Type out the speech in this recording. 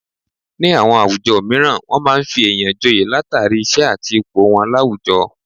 Ní àwọn àwùjọ mìíràn wọn máa ń fi èèyàn joye látàrí, iṣẹ́ àti ipò wọn láwùjọ